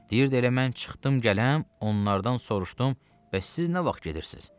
Deyirdi elə mən çıxdım gəlirəm, onlardan soruşdum, bəs siz nə vaxt gedirsiz?